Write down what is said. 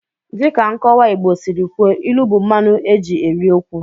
Dịka nkọwa Igbo siri kwuo, ilu bụ mmanụ eji eri okwu.